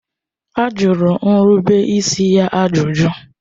A jụrụ nrubeisi ya ajụjụ.